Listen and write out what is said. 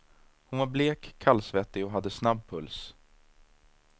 Hon var blek, kallsvettig och hade snabb puls.